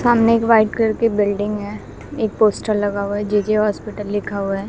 सामने एक white colour building है एक पोस्टर लगा हुआ है जे_के हॉस्पिटल लिखा हुआ है।